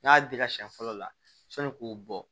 N'a y'a dila siɲɛ fɔlɔ la sani k'o bɔ